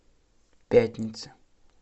пятница